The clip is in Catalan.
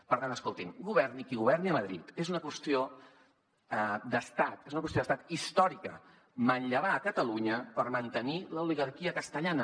per tant escolti’m governi qui governi a madrid és una qüestió d’estat és una qüestió d’estat històrica manllevar a catalunya per mantenir l’oligarquia castellana